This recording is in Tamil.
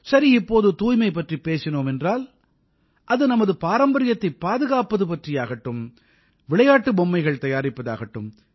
சரி இப்போது தூய்மை பற்றிப் பேசினோம் என்றால் அது நமது பாரம்பரியத்தைப் பாதுகாப்பது பற்றியாகட்டும் விளையாட்டு பொம்மைகள் தயாரிப்பது ஆகட்டும்